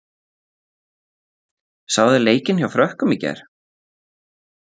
Sáuð þið leikinn hjá Frökkum í gær?